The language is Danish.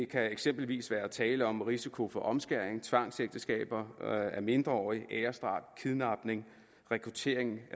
kan eksempelvis være tale om risiko for omskæring tvangsægteskaber af mindreårige æresdrab kidnapning rekruttering